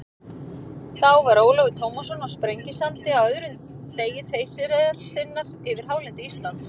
Þá var Ólafur Tómasson á Sprengisandi á öðrum degi þeysireiðar sinnar yfir hálendi Íslands.